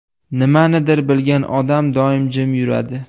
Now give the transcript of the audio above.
Nimanidir bilgan odam doim jim yuradi .